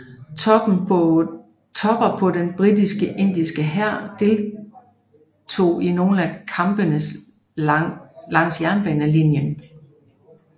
Tropper fra den britiske indiske hær deltog i nogle af kampene langs jernbanelinjen